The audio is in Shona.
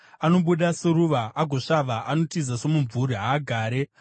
Anobuda seruva agosvava; anotiza somumvuri, haagari.